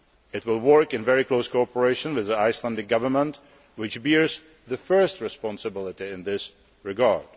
It will work in very close cooperation with the Icelandic Government, which bears the first responsibility in this regard.